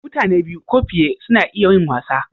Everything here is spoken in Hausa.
Mutane biyu ko fiye suna iya yin wasa.